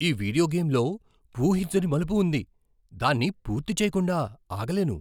ఈ వీడియో గేమ్లో ఊహించని మలుపు ఉంది. దాన్ని పూర్తిచెయ్యకుండా ఆగలేను!